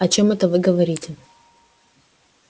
о чём это вы говорите